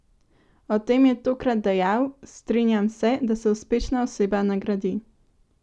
O tem je tokrat dejal: "Strinjam se, da se uspešna oseba nagradi.